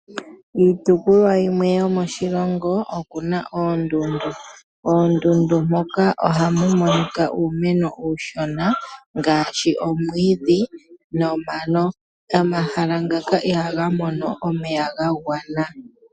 Iitopolwa yimwe yomoshilongo okuna oondundu, oondundu moka ohamu monika uumeno uushona ngaashi, omwiidhi nomano. Omahala ngaka ihaga mono omeya ga gwana.